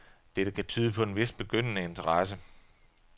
Dette kan tyde på en vis begyndende interesse.